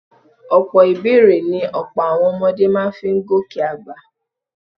Ọ̀pọ̀ ìbẹ́èrè ni ọ̀pọ̀ àwọn ọmọdé máa fi ń gòkè àgbà